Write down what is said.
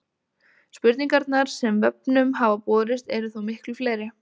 Spurningarnar sem vefnum hafa borist eru þó miklu fleiri.